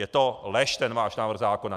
Je to lež, ten váš návrh zákona.